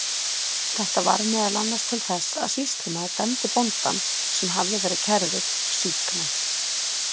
Þetta varð meðal annars til þess að sýslumaður dæmdi bóndann, sem hafði verið kærður, sýknan.